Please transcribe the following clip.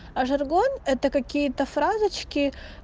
а жаргон это какие-то фразочки